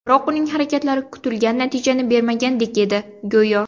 Biroq uning harakatlari kutilgan natijani bermagandek edi, go‘yo.